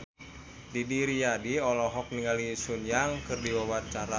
Didi Riyadi olohok ningali Sun Yang keur diwawancara